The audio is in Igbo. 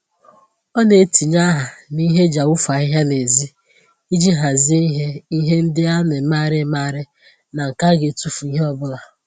Ọ na-etinye aha n'ihe eji awufu ahịhịa n'ezi iji hazie ihe ihe ndị a na-emegharị emegharị ná nke a ga etufu ìhè ọbụla